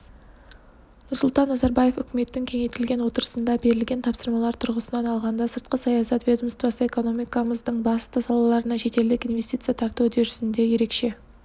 нұрсұлтан назарбаев үкіметтің кеңейтілген отырысында берілген тапсырмалар тұрғысынан алғанда сыртқы саясат ведомствосы экономикамыздың басты салаларына шетелдік инвестиция тарту үдерісінде ерекше